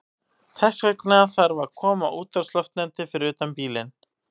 Þess vegna þarf að koma útvarpsloftneti fyrir utan bílinn.